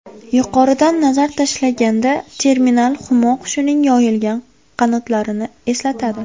Yuqoridan nazar tashlaganda terminal humo qushining yoyilgan qanotlarini eslatadi.